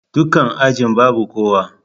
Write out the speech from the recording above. Dakunan ajin babu kowa.